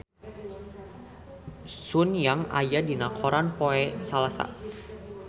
Sun Yang aya dina koran poe Salasa